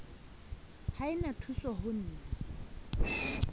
ha e na thusoho na